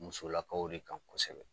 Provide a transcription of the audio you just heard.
Musolakaw de kan kosɛbɛ